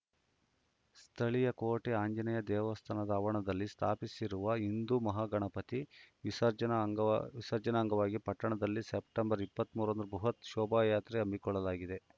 ಸ್ಥಳೀಯ ಕೋಟೆ ಆಂಜನೇಯ ದೇವಸ್ಥಾನ ಆವರಣದಲ್ಲಿ ಸ್ಥಾಪಿಸಿರುವ ಹಿಂದೂ ಮಹಾಗಣಪತಿ ವಿಸರ್ಜನ ವಿಸರ್ಜನ ಅಂಗವಾಗಿ ಪಟ್ಟಣದಲ್ಲಿ ಸೆಪ್ಟೆಂಬರ್ ಇಪ್ಪತ್ತ್ ಮೂರ ರಂದು ಬೃಹತ್‌ ಶೋಭಾಯಾತ್ರೆ ಹಮ್ಮಿಕೊಳ್ಳಲಾಗಿದೆ